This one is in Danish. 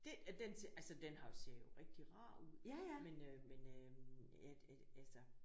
Det den altså den har ser jo rigtig rar ud men øh men øh altså